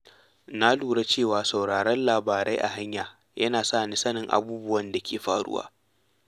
Na lura cewa sauraron labarai a hanya yana sa ni sanin abubuwan da ke faruwa.